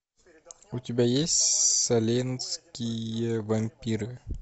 у тебя есть салемские вампиры